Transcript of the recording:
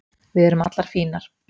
Við erum allar fínar